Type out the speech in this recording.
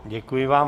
Děkuji vám.